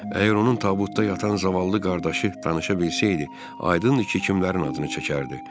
Əgər onun tabutda yatan zavallı qardaşı danışa bilsəydi, aydın idi ki, kimlərin adını çəkərdi.